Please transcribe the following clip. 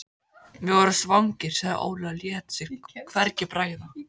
Við vorum svangir, sagði Óli og lét sér hvergi bregða.